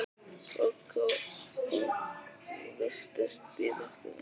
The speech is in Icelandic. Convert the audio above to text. Kókó og virtist bíða eftir einhverjum.